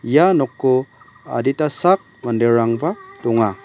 ia noko adita sak manderangba donga.